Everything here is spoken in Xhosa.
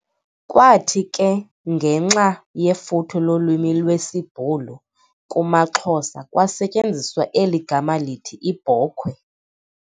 Kwathi ke ngenxa yefuthe lolwimi lwesiBhulu kumaXhosa, kwasetyenziswa eli gama lithi 'Ibhokhwe'